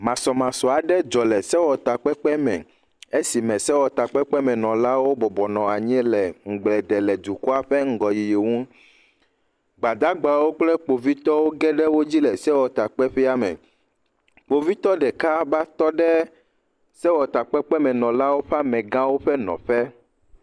Masɔmasɔ aɖe dzɔ le sewɔtakpekpeme. Esime sewɔtakpekpemenɔlawo bɔbɔ nɔ anyi le ŋugble de le dukɔa ƒe ŋgɔyiyi ŋu. gbadagbawo kple Kpovitɔwo ge ɖe wodzi le sewɔtakpekpeƒea me. Kpovitɔ ɖeka ba tɔ ɖe sewɔtakpekpemenɔlawo ƒe amegãwo ƒe nɔƒe